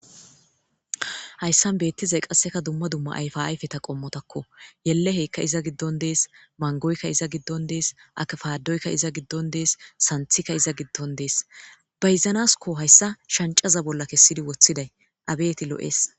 hayssan beettizay qasseka dumma dumma ayfa ayfeta qommotakko yelleheykka iza giddon dees mangoykka iza giddon dees akfaadoykka iza giddon dees santhikka iza giddon dees bayizanaskko hayssa shancaza bolla kessidi woththiday abeti lo'ees